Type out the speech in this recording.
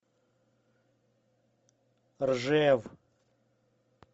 ржев